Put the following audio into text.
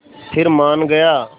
फिर मान गया